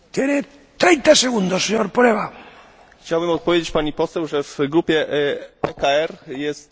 Chciałbym odpowiedzieć pani poseł, że w grupie ECR jest w tej sprawie pewna różnica poglądów.